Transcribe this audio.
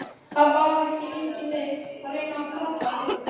Það var engin leið að reyna að plata hana.